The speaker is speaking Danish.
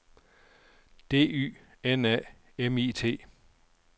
D Y N A M I T